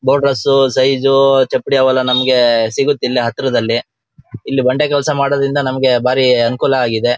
ಬೋಡ್ರಸು size ಚಾಪಡಿ ಅವೆಲ್ಲ ನಮಗೆ ಸಿಗುತ್ತೆ ಇಲ್ಲೆ ಹತ್ರದಲ್ಲಿ ಇಲ್ಲಿ ಬಂಡೆ ಕೆಲಸ ಮಾಡೋದರಿಂದ ನಮಗೆ ಬಾರಿ ಅನುಕೂಲ ಆಗಿದೆ.